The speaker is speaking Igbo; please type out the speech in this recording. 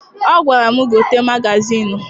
Ọ gwara m, gote magazịịnụ!